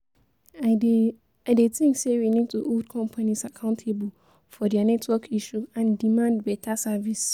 I dey I dey think say we need to hold companies accountable for dia network issues and demand beta service.